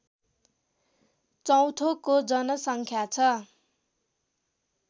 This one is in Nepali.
चौथौको जनसङ्ख्या छ